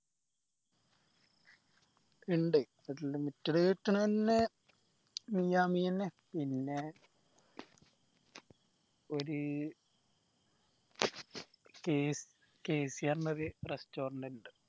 ഇണ്ട് unlimited കിട്ടണ എന്നെ മിയാ മിയാന്നെ പിന്നെ ഒരു KCR ന്റെ ഒരു restaurant ഇണ്ട്